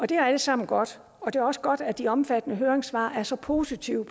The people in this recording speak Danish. det er alt sammen godt og det er også godt at de omfattende høringssvar er så positive